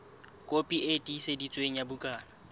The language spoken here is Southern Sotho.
kopi e tiiseditsweng ya bukana